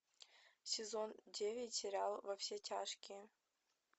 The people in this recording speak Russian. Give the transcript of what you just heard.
сезон девять сериал во все тяжкие